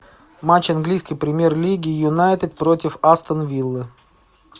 матч английской премьер лиги юнайтед против астон виллы